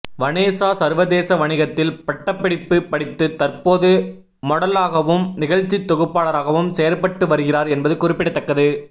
Vanessa சர்வதேச வணிகத்தில் பட்டப்படிப்பு படித்து தற்போது மொடலாகவும் நிகழ்ச்சி தொகுப்பாளராகவும் செயற்பட்டு வருகிறார் என்பது குறிப்பிடத்தக்கது